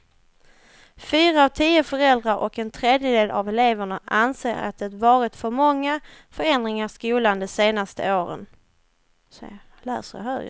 Fyra av tio föräldrar och en tredjedel av eleverna anser att det varit för många förändringar i skolan de senaste åren.